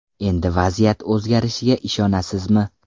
Endi vaziyat o‘zgarishiga ishonasizmi?